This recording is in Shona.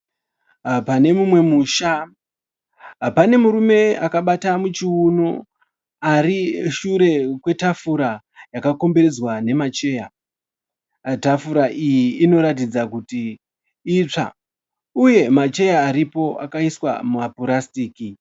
Pane mumwe musha, pane murume akabata muchiuno arishure kwetafura yakakomberedzwa nemacheya. Tafura iyi inoratidza kuti itsva uye macheya aripo akauswa nemapurasitiki